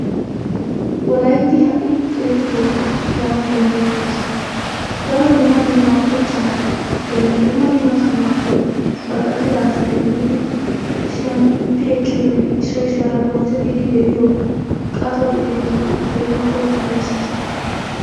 Wolaytti ha'i qeeri toophphiya gaanawu danddayettees. Daro dumma dumma kochchaappenne dumma dumma sohuwaappe baqqattida asay yiidi shemppi ekkiyonne issoy issuwara bonchchettidi de'iyo qatto gididi ha'i keehiippe ufayssees.